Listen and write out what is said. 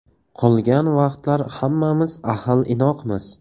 Qolgan vaqtlar hammamiz ahil-inoqmiz.